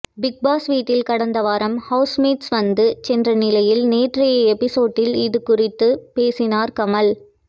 Bigg Boss வீட்டில் கடந்த வாரம் ஹவுஸ்மேட்ஸ் வந்து சென்ற நிலையில் நேற்றைய எபிசோடில் அதுகுறித்து பேசினார் கமல்